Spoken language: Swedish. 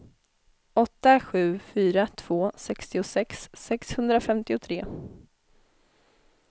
åtta sju fyra två sextiosex sexhundrafemtiotre